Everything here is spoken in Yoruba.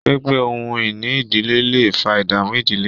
pínpín ohun-ìní ìdílé lẹ fà ìdààmú ìdílé.